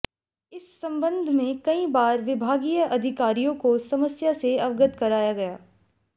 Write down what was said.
इस संबंध में कई बार विभागीय अधिकारियों को समस्या से अवगत कराया गया